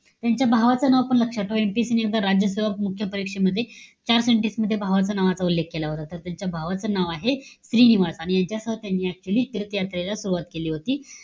त्यांच्या भावाचं नाव पण लक्षात ठेवा. MPSC आणि आता राज्यसेवा परीक्षेमध्ये चार sentence मध्ये भावाचा नावाचा उल्लेख केला होता. तर, त्यांच्या भावाचं नाव आहे, श्रीनिवास. आणि याच्यासोबत त्यांनी actually तीर्थयात्रेला सुरवात केली होती.